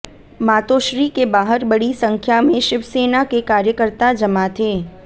मातोश्री के बाहर बड़ी संख्या में शिवसेना के कार्यकर्ता जमा थे